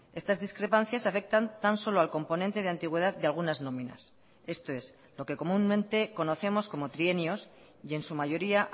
estas discrepancias afectan tan solo al componente de antigüedad de algunas nóminas esto es lo que comúnmente conocemos como trienios y en su mayoría